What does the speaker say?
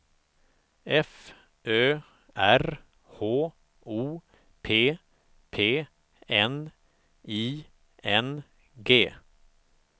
F Ö R H O P P N I N G